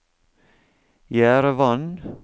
Jerevan